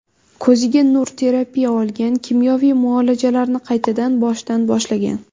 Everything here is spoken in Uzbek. Ko‘ziga nur terapiya olgan, kimyoviy muolajalarini qaytadan boshidan boshlagan.